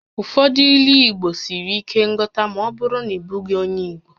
Ụfọdụ Ílú Igbo siri ike nghọta ma ọ bụrụ na ị bụghị onyé Igbo